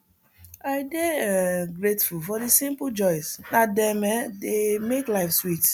i dey um grateful for the simple joys na dem um dey make life sweet